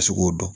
Ka se k'o dɔn